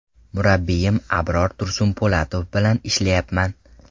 Murabbiyim Abror Tursunpo‘latov bilan ishlayapman.